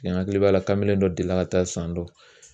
Mɛ hakili b'a la kamelen dɔ delila ka taa san dɔ